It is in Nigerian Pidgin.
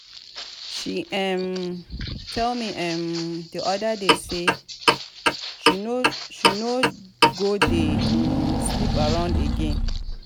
she um tell me um the other day say she no go dey um sleep around again.